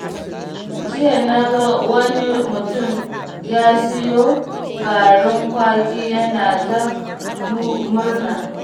Jiya na ga wani mutum ya siyo garin kwaki yana ta murna.